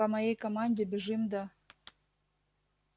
по моей команде бежим до